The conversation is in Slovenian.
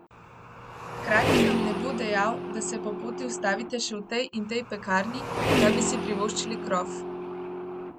Hkrati vam ne bo dejal, da se po poti ustavite še v tej in tej pekarni, da bi si privoščili krof.